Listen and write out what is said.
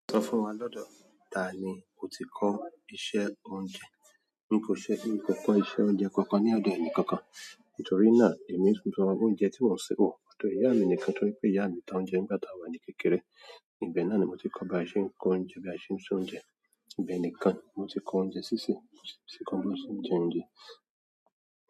Sọ fún wa lọ́dọ̀, tá ni o ti kọ́ iṣẹ́ oúnjẹ? N kò ṣe bi. N kò kọ́ iṣẹ́ oúnjẹ kankan ní ọ̀dọ̀ ẹnì kankan, nítorí náà èmi sísan oúnjẹ tí mo ń ṣo torí ìyá mi nìkan torí pé ìyá mi ta oúnjẹ nígbà tí àwa ni kékeré. Ìbẹ náà ni mo ti kọ́ bí a ṣe ń se oúnjẹ. Ìbẹ nìkan mo ti kọ́ oúnjẹ sísè, mo si ti kọ́ bí a ṣe ń jẹ oúnjẹ.